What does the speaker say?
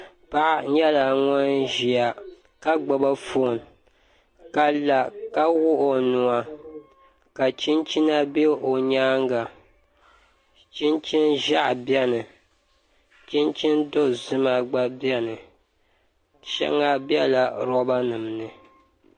Paɣa nyɛla ŋun ʒiya ka gbubi foon ka la ka wuɣi o nuwa ka chinchina bɛ o nyaanga chinchini ʒiɛhi biɛni chinchini dozima gba biɛni shɛŋa biɛla roba nim ni